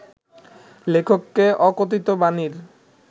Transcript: লেখককে ‘অকথিত বাণী’র